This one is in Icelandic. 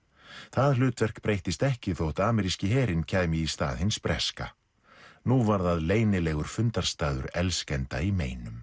það hlutverk breyttist ekki þótt ameríski herinn kæmi í stað hins breska nú var það leynilegur fundarstaður elskenda í meinum